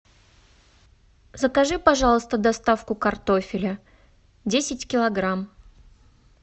закажи пожалуйста доставку картофеля десять килограмм